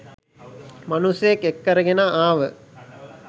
මනුස්සයෙක් එක්කරගෙන ආව